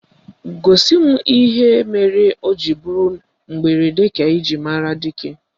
Gosi m ihe mere o ji bụrụ mberede ka eji ama dike